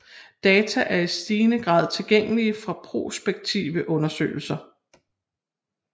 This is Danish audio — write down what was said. Data er i stigende grad tilgængelige fra prospektive undersøgelser